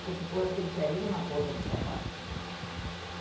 Tinha que pôr aquele ferrinho na ponta dos sapatos, né?